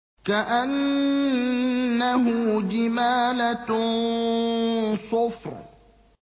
كَأَنَّهُ جِمَالَتٌ صُفْرٌ